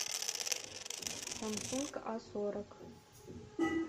самсунг а сорок